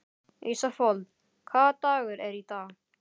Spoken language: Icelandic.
Ísafold, hvaða dagur er í dag?